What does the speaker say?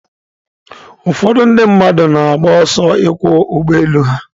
Ụfọdụ ndị mmadụ na-agba ọsọ ịkwọ ụgbọ elu ha.